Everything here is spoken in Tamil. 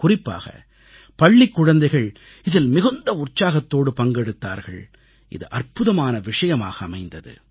குறிப்பாக பள்ளிக் குழந்தைகள் இதில் மிகுந்த உற்சாகத்தோடு பங்கெடுத்தார்கள் இது அற்புதமான விஷயமாக அமைந்தது